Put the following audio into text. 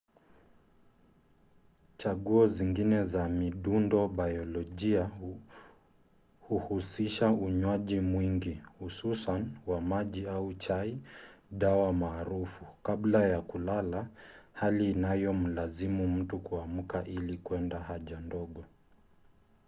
chaguo zingine za midundobayolojia huhusisha unywaji mwingi hususan wa maji au chai dawa maarufu kabla ya kulala hali inayomlazimu mtu kuamka ili kwenda haja ndogo